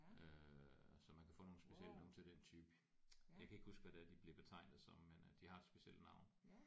Øh så man kan få nogle special nogle til den type. Jeg kan ikke huske hvad det er de bliver betegnet som men øh de har et specielt navn